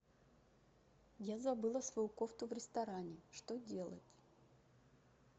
я забыла свою кофту в ресторане что делать